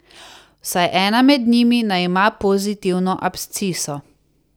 Vsaj ena med njimi naj ima pozitivno absciso.